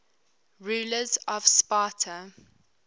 rulers of sparta